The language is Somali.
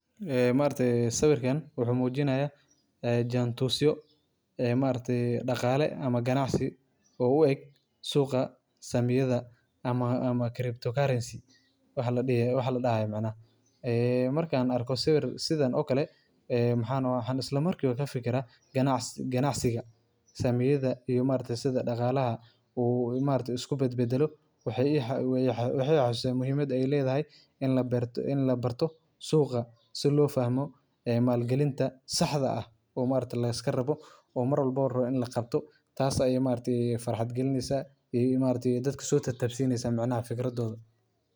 Jaantuska saamiyada waa qalab muhiim ah oo loo isticmaalo falanqaynta suuqa saamiyada, kaas oo muujinaya isbeddelada qiimaha saamiyada waqti kala duwan. Jaantuskani wuxuu ka kooban yahay xariijimo ama baarar muujinaya sicirka furitaanka, xidhitaanka, qiimaha ugu sarreeya iyo kan ugu hooseeya ee saami gaar ah muddo cayiman. Waxaa jira noocyo kala duwan oo jaantusyo ah sida jaantuska khadka, jaantuska baararka, iyo jaantuska shandadaha Jabbaan.